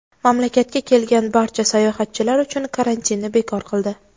mamlakatga kelgan barcha sayohatchilar uchun karantinni bekor qildi.